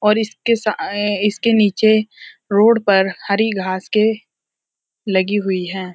और इसके साये इसके नीचे रोड पर हरी घास के लगी हुई है।